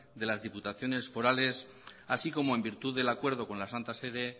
de las diputaciones forales así como en virtud del acuerdo con la santa sede